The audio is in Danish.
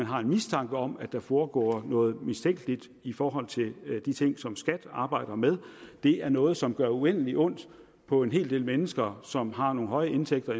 har en mistanke om at der foregår noget mistænkeligt i forhold til de ting som skat arbejder med det er noget som gør uendelig ondt på en hel del mennesker i som har nogle høje indtægter